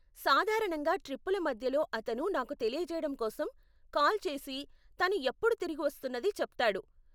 సాధారణంగా ట్రిప్పుల మధ్యలో అతను నాకు తెలియజేయడం కోసం కాల్ చేసి తను ఎప్పుడు తిరిగి వస్తున్నది చెప్తాడు.